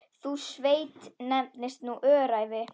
Sú sveit nefnist nú Öræfi.